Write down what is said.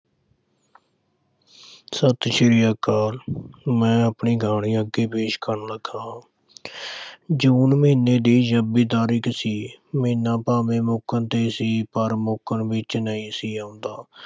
ਸਤਿ ਸ੍ਰੀ ਅਕਾਲ ਮੈਂ ਆਪਣੀ ਕਹਾਣੀ ਅੱਗੇ ਪੇਸ਼ ਕਰਨ ਲੱਗਾ ਹਾਂ ਜੂਨ ਮਹੀਨੇ ਦੀ ਛੱਬੀ ਤਾਰੀਖ ਸੀ, ਮਹੀਨਾ ਭਾਵੇਂ ਮੁੱਕਣ ’ਤੇ ਸੀ ਪਰ ਮੁੱਕਣ ਵਿੱਚ ਨਹੀਂ ਸੀ ਆਉਂਦਾ।